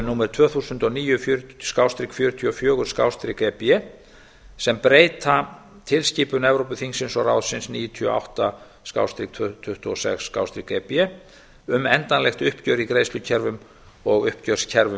númer tvö þúsund og níu fjörutíu og fjögur e b sem breyta tilskipun evrópuþingsins og ráðsins níutíu og átta tuttugu og sex e b um endanlegt uppgjör í greiðslukerfum og uppgjörskerfum